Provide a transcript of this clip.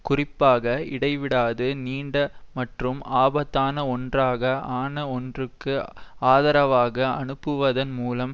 குறிப்பாக இடைவிடாது நீண்ட மற்றும் ஆபத்தான ஒன்றாக ஆன ஒன்றுக்கு ஆதரவாக அனுப்புவதன் மூலம்